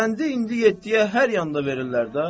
Qəndi indi yeddiyə hər yanda verirlər də.